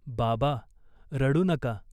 बाबा रडू नका.